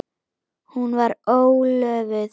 Hún var ólofuð.